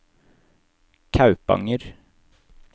Kaupanger